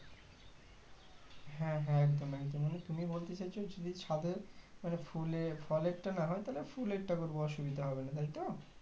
হ্যাঁ হ্যাঁ একদম একদম মানে তুমি বলতে চাইছো যে যদি ছাদে মানে ফুলের ফলেরটা না হয় ফুলেরটা করবো অসুবিধা হবে না তাইতো